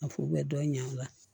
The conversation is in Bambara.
A fu bɛ dɔ ɲa a la